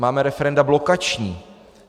Máme referenda blokační.